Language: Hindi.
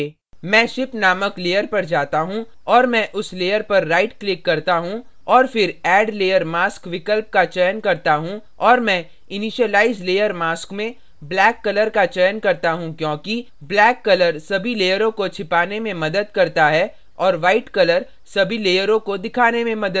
मैं ship named layer पर जाता हूँ और मैं उस layer पर right click करता हूँ और फिर add layer mask विकल्प का चयन करता हूँ और मैं इनिशियलाइज़ layer mask में black कलर का चयन करता हूँ क्योंकि black कलर सभी लेयरों को छिपाने में मदद करता है और white कलर सभी लेयरों को दिखाने में मदद करता है